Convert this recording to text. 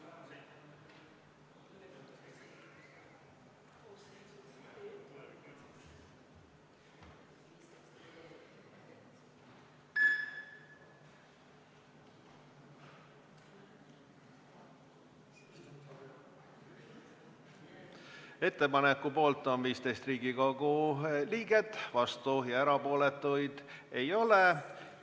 Hääletustulemused Ettepaneku poolt on 15 Riigikogu liiget, vastuolijaid ja erapooletuid ei ole.